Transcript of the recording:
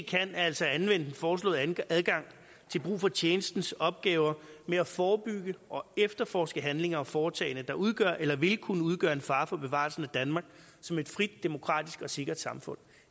kan er altså at anvende den foreslåede adgang til brug for tjenestens opgaver med at forebygge og efterforske handlinger og foretagender der udgør eller vil kunne udgøre en fare for bevarelsen af danmark som et frit demokratisk og sikkert samfund